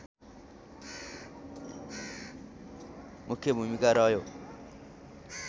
मुख्य भूमिका रह्यो